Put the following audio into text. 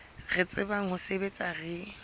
re tsebang ho sebetsa re